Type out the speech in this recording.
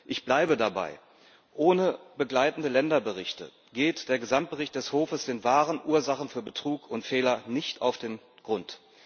Ich bleibe dabei Ohne begleitende Länderberichte geht der Gesamtbericht des Hofes den wahren Ursachen für Betrug und Fehler nicht auf den Grund.